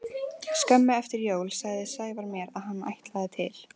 Skömmu eftir jól sagði Sævar mér að hann ætlaði til